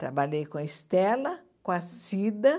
Trabalhei com a Estela, com a Cida.